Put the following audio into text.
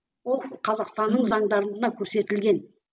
ол қазақстанның зандарында көрсетілген